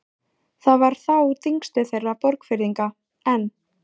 Þar var þá þingstöð þeirra Borgfirðinga, en